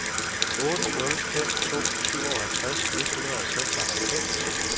otte nul fem to syvoghalvtreds et hundrede og seksoghalvfems